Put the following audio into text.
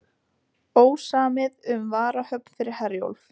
Ósamið um varahöfn fyrir Herjólf